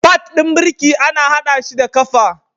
Pad ɗin birki ana haɗa shi da ƙafa.